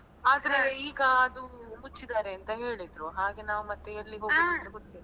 ಆದ್ರೆ ಈಗ ಅದು ಮುಚ್ಚಿದ್ದಾರೆ ಅಂತ ಹೇಳಿದ್ರು ಹಾಗೆ ನಾವು ಮತ್ತೆ ಎಲ್ಲಿಗ್ ಹೋಗುದು ಅಂತ ಗೊತ್ತಿಲ್ಲ.